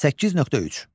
8.3.